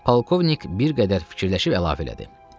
Polkovnik bir qədər fikirləşib əlavə elədi.